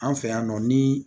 An fɛ yan nɔ ni